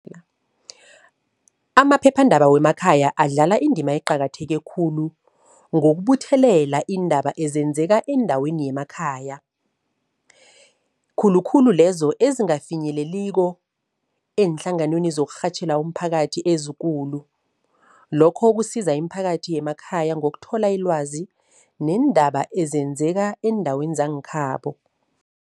Amaphephandaba wemakhaya adlala indima eqakatheke khulu ngokubuthelela iindaba ezenzeka eendaweni yemakhaya. Khulukhulu lezo ezingafinyeleliko eenhlanganweni zokurhatjhela umphakathi ezikulu. Lokho kusiza imiphakathi yemakhaya ngokuthola ilwazi neendaba ezenzeka eendaweni zangekhabo.